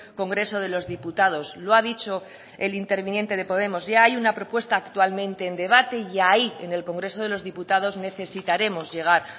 congreso de los diputados lo ha dicho el interviniente de podemos ya hay una propuesta actualmente en debate y ahí en el congreso de los diputados necesitaremos llegar